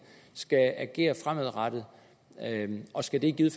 skal agere fremadrettet og skal det i givet